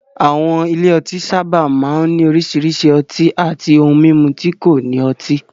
Àwọn ilé ọtí sábà máa ń ní oríṣiríṣi ọtí àti ohun mímu tí kò ní ọtí.